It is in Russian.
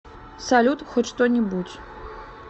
салют хоть что нибудь